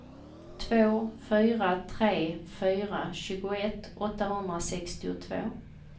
två fyra tre fyra tjugoett åttahundrasextiotvå